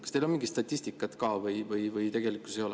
Kas teil on mingit statistikat või ei ole?